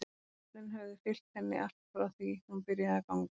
Meiðslin höfðu fylgt henni allt frá því hún byrjaði að ganga.